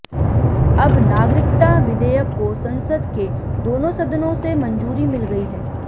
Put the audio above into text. अब नागरिकता विधेयक को संसद के दोनों सदनों से मंजूरी मिल गई है